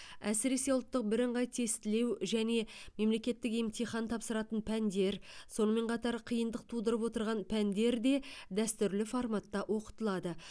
әсіресе ұлттық бірыңғай тестілеу және мемлекеттік емтихан тапсыратын пәндер сонымен қатар қиындық тудырып отырған пәндер де дәстүрлі форматта оқытылады